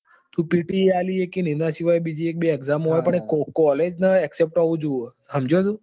તું PTE આપી સકે ને એના સિવાય એક બે બીજી exam હોય પણ એ collage નાં accpet હોવું જોઈએ સમજ્યો તું?